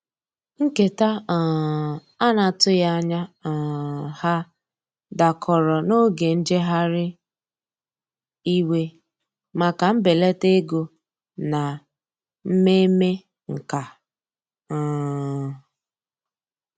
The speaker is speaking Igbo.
Nketa um ana atughi anya um ha dakọrọ n'oge njeghari iwe maka mbelata ego na mmeme nkà. um